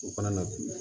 O fana na bi